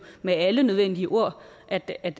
med alle nødvendige ord at at